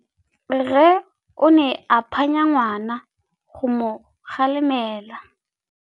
Rre o ne a phanya ngwana go mo galemela.